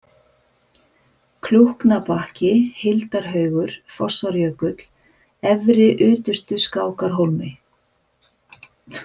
Klúknabakki, Hildarhaugur, Fossárjökull, Efri-Utustuskákarhólmi